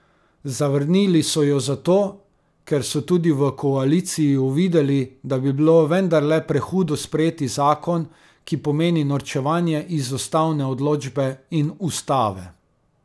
Zavrnili so jo zato, ker so tudi v koaliciji uvideli, da bi bilo vendarle prehudo sprejeti zakon, ki pomeni norčevanje iz ustavne odločbe in ustave.